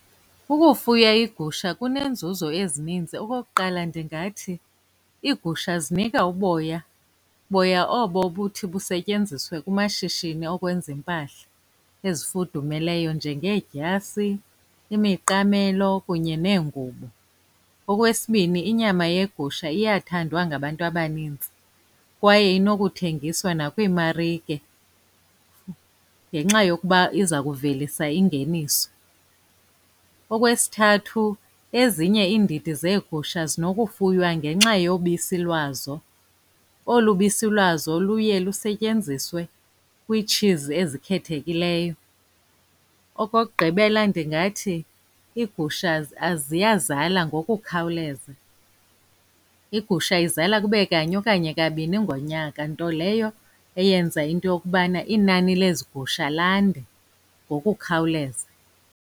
Ukufuya iigusha kuneenzuzo ezininzi. Okokuqala, ndingathi iigusha zinika uboya, boya obo ubuthi busetyenziswe kumashishini okwenza iimpahla ezifudumeleyo, njengeedyasi, imiqamelo, kunye neengubo. Okwesibini, inyama yegusha iyathandwa ngabantu abanintsi kwaye inokuthengiswa nakwiimarike ngenxa yokuba iza kuvelisa ingeniso. Okwesithathu, ezinye iindidi zeegusha zinokufuywa ngenxa yobisi lwazo. Olu bisi lwazo luye lusetyenziswe kwiitshizi ezikhethekileyo. Okokugqibela, ndingathi iigusha ziyazala ngokukhawuleza. Igusha izala kube kanye okanye kabini ngonyaka, nto leyo eyenza into yokubana inani lezi gusha lande ngokukhawuleza.